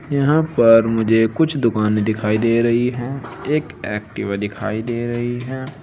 यहां पर मुझे कुछ दुकानें दिखाई दे रही है एक एक्टिवा दिखाई दे रही है।